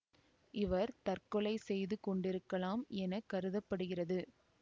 இவர் தற்கொலை செய்து கொண்டிருக்கலாம் என கருத படுகிறது